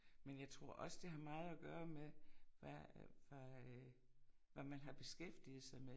Men jeg tror også det var meget at gøre med hvad hvad øh hvad man har beskæftiget sig med